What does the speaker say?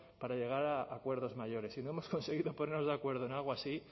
para llegar a acuerdos mayores si no hemos conseguido ponernos de acuerdo en algo así